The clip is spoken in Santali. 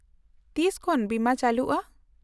-ᱛᱤᱥ ᱠᱷᱚᱱ ᱵᱤᱢᱟᱹ ᱪᱟᱹᱞᱩᱜᱼᱟ ?